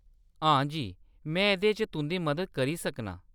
हां जी, में एह्‌‌‌दे च तुंʼदी मदद करी सकनां ।